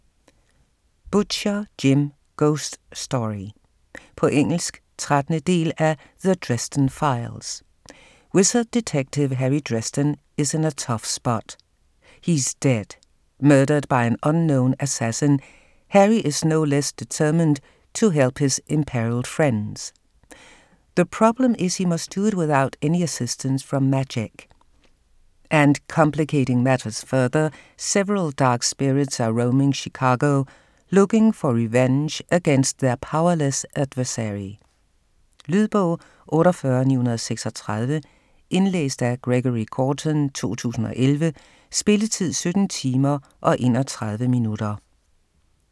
Butcher, Jim: Ghost story På engelsk. 13. del af The Dresden files. Wizard detective Harry Dresden is in a tough spot - he's dead. Murdered by an unknown assassin, Harry is no less determined to help his imperiled friends. The problem is he must do it without any assistance from magic. And complicating matters further, several dark spirits are roaming Chicago, looking for revenge against their powerless adversary. Lydbog 48936 Indlæst af Gregory Gorton, 2011. Spilletid: 17 timer, 31 minutter.